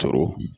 Sɔrɔ